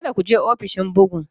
Kada ku je ofishin bugun!